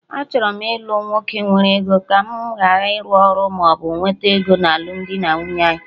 Achọrọ m ilu nwoke nwere ego, ka mụ gharị ịrụ ọrụ maọbụ na-ewete ego na alụmdi anyị